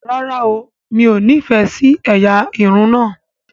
ràrá óò mi'o ní ní ìfẹ sí ẹyà Irun na.